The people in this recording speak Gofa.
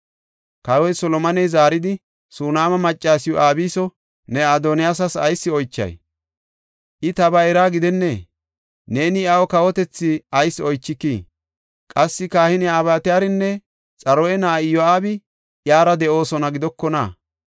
Kawoy Solomoney zaaridi, “Sunaama maccasiw Abiso ne Adoniyaasi ayis oychay? I ta bayraa gidennee? Neeni iyaw kawotethi ayis oychikii? Qassi kahiniya Abyataarinne Xaruya na7ay Iyo7aabi iyara de7oosona gidokona?”